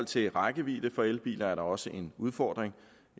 til rækkevidde for elbiler er der også en udfordring